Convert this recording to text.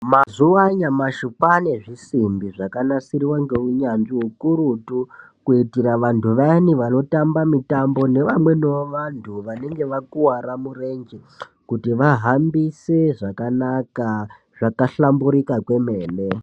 Mazuva anyamashi kwane zvisimbi zvakanasirwa ngeunyatsvi ukurutu kuitira vantu vayani vanotamba mitombo nevamweniwo vantu vanenge vakuwara murenje kuti vahambise zvakanaka zvakahlamburuka kwemene.